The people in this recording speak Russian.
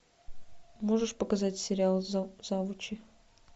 можешь показать сериал завучи